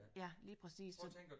Ja lige præcis så